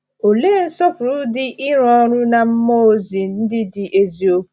Òlee nsọpụrụ dị ịrụ ọrụ na mmụọ ozi ndị dị eziokwu!